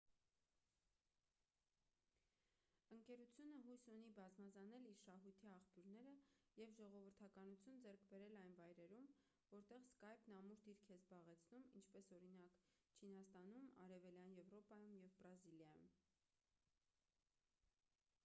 ընկերությունը հույս ունի բազմազանել իր շահույթի աղբյուրները և ժողովրդականություն ձեռք բերել այն վայրերում որտեղ սկայպն ամուր դիրք է զբաղեցնում ինչպես օրինակ չինաստանում արևելյան եվրոպայում և բրազիլիայում